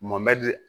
Mɔmɛdi